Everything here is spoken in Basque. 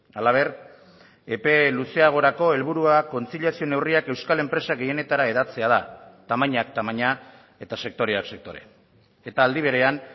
halaber epe luzeagorako helburuak kontziliazio neurriak euskal enpresa gehienetara hedatzea da tamainak tamaina eta sektoreak sektore eta aldi berean